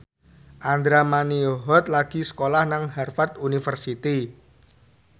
Andra Manihot lagi sekolah nang Harvard university